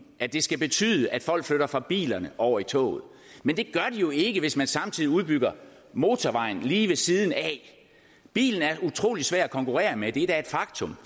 at det skal betyde at folk flytter fra bilerne over i toget men det gør de jo ikke hvis man samtidig udbygger motorvejen lige ved siden af bilen er utrolig svær at konkurrere med det er da et faktum